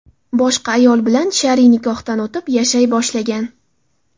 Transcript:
boshqa ayol bilan shar’iy nikohdan o‘tib, yashay boshlagan.